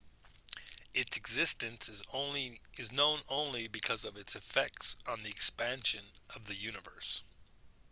its existence is known only because of its effects on the expansion of the universe